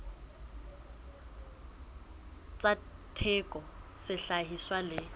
tsa theko ya sehlahiswa le